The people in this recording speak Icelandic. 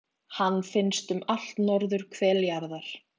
hann finnst um allt norðurhvel jarðar